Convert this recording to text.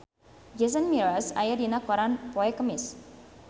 Jason Mraz aya dina koran poe Kemis